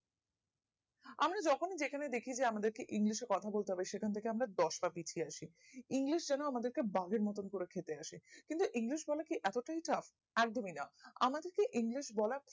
আমরা যখনি যে খানে দেখি যে আমাদের কে english এ কথা বলতে হবে যে সে খান থাকে আমরা দশ পা পিছিয়ে আসি english যেন আমাদের কে বাগেড় মতোনা কোরে খেতে আসে কিন্তু english বলা কি এত টাই tap একদমই না আমাদের কে english বলা